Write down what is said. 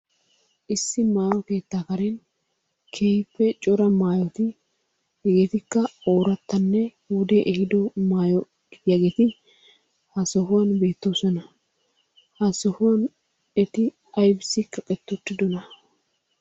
Issi maayo keettaa karen keehippe cora maayoti hegeetikka oorattanne wodee ehiiddo maayo gidiyageeti ha sohuwan bettoosona. Ha sohuwan eti aybissi kaqqeti uttiddona?